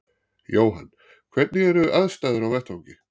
Jóhann: Hvernig eru aðstæður á vettvangi?